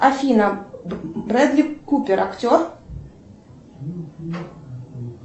афина брэдли купер актер